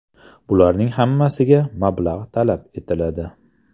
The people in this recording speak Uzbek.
Bularning hammasiga mablag‘ talab etiladi.